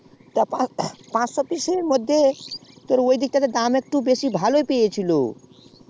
পাঁচশো পিস্ এর মধ্যেই ঐদিকে একটু দাম তা বেশ ভালো পেয়েছিলো